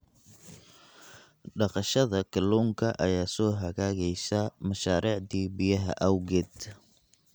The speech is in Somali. Dhaqashada kalluunka ayaa soo hagaagaysa mashaariicda biyaha awgeed.